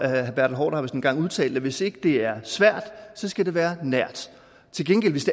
herre bertel haarder engang har udtalt det hvis ikke det er svært skal det være nært til gengæld hvis